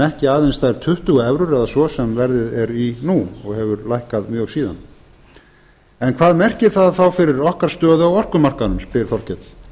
ekki aðeins þær tuttugu evrur eða svo sem verðið er í nú og hefur lækkað mjög síðan en hvað merkir það þá fyrir okkar stöðu á orkumarkaðnum spyr þorkell